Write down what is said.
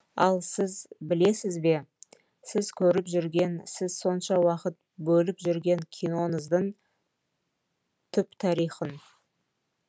ал сіз білесіз бе сіз көріп жүрген сіз сонша уақыт бөліп жүрген киноңыздың түп тарихын